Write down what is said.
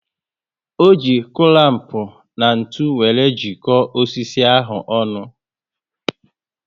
O ji culamp na ntụ wéré jiko osisi ahụ ọnụ